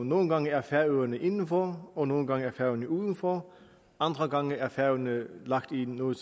nogle gange er færøerne indenfor og nogle gange er færøerne udenfor andre gange er færøerne lagt i noget